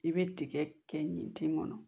I bɛ tigɛ kɛ ɲi ti kɔnɔ